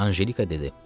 Anjelika dedi.